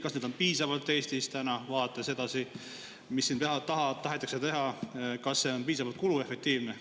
Kas neid on piisavalt Eestis täna, vaadates edasi, mis siin tahetakse teha, kas see on piisavalt kuluefektiivne?